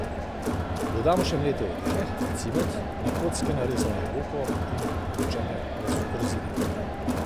Dodamo še mlete orehe, cimet, na kocke narezano jabolko in namočene rozine.